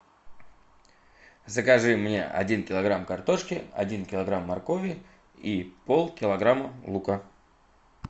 закажи мне один килограмм картошки один килограмм моркови и пол килограмма лука